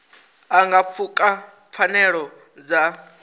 a nga pfuka pfanelo dza